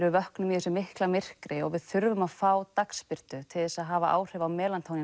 við vöknum í þessu mikla myrkri og við þurfum að fá dagsbirtu til þess að hafa áhrif á